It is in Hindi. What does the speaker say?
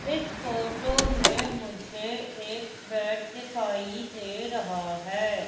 इस फोटो में मुझे एक बैट दिखाई दे रहा है।